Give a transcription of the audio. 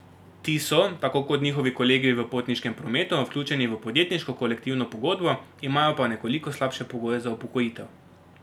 Ti so, tako kot njihovi kolegi v potniškem prometu, vključeni v podjetniško kolektivno pogodbo, imajo pa nekoliko slabše pogoje za upokojitev.